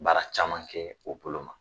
Baara caman kɛ o bolo ma